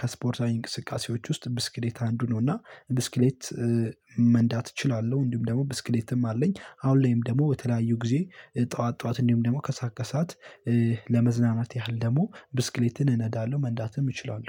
ከስፖርታዊ እንቅስቃሴዎች ውስጥ ብስክሌት አንዱ ነው እና ብስክሌት መንዳት እችላለው። እንዲሁም ደግሞ ብስክሌትም አለኝ። አሁን ላይም ደግሞ በተለያዩ ጊዜ ጠዋት ጠዋት እንዲሁም ደግሞ ከሰአት ከሰአት ለመዝናናት ያህል ደግሞ ብስክሌትን እነዳለው መንዳትም እችላለው